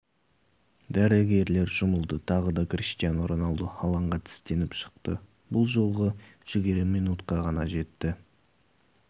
дәрігерлер жұмылды тағы да криштиану роналду алаңға тістеніп шықты бұл жолғы жігері минутқа ғана жетті